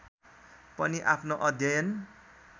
पनि आफ्नो अध्ययन